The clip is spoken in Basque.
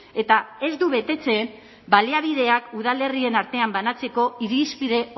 eta ez du betetzen baliabideak udalerrien artean banatzeko irizpide